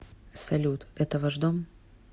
салют это ваш дом